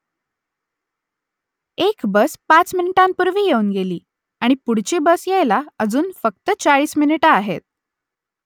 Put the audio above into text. एक बस पाच मिनिटांपूर्वी येऊन गेली आणि पुढची बस यायला अजून फक्त चाळीस मिनिटं आहेत